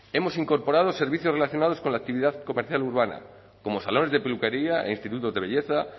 hemos incorporado servicios relacionados con la actividad comercial urbana como salones de peluquería e institutos de belleza